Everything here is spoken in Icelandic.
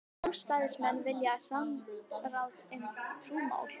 Sjálfstæðismenn vilja samráð um trúmál